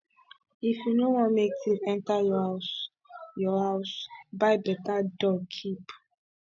if you no want make thief enter your house your house buy beta dog keep